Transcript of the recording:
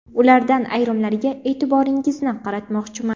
Ulardan ayrimlariga e’tiboringizni qaratmoqchiman.